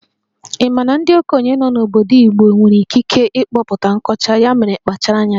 Ị ma na ndị okenye nọ n'obodo Igbo nwere ikike ịkpọpụta nkọcha, ya mere kpachara anya